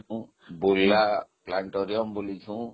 ବୁଲିଛି ମୁଁ ବୁର୍ଲାplanetorium ବୁଲିଛି ମୁଁ